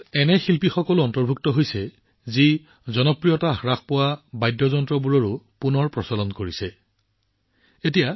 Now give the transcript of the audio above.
ইয়াত সেইবোৰ বাদ্যযন্ত্ৰত নতুন জীৱন লাভ কৰা শিল্পীও অন্তৰ্ভুক্ত আছে যাৰ জনপ্ৰিয়তা সময়ৰ লগে লগে হ্ৰাস পাইছিল